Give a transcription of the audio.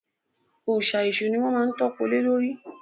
Òòsà èṣù ni wọ́n má ń tọ́po lé lórí